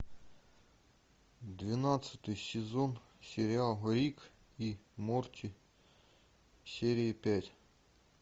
двенадцатый сезон сериал рик и морти серия пять